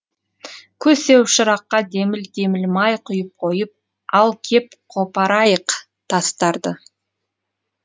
көсеу шыраққа деміл деміл май құйып қойып ал кеп қопарайық тастарды